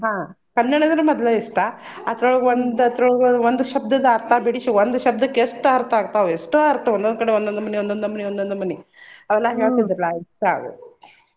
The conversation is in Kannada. ಹಾ ಕನ್ನಡ ಅಂದ್ರ ಮದ್ಲ ಇಷ್ಟಾ ಅದ್ರೊಳಗ್ ಒಂದ್ ಅದ್ರೊಳಗ್ ಒಂದ್ ಶಬ್ಧದ ಅರ್ಥ ಬಿಡಿಸಿ ಒಂದ್ ಶಬ್ಧಕ್ಕೆ ಎಷ್ಟ್ ಅರ್ಥ ಆಗ್ತಾವ್ ಎಷ್ಟೋ ಅರ್ಥ ಒಂದೊಂದ್ ಕಡೆ ಒಂದೊಂದ್ ನಮನಿ ಒಂದೊಂದ್ ನಮನಿ ಒಂದೊಂದ್ ನಮನಿ ಹೇಳ್ತಿದ್ರು .